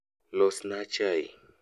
losna chai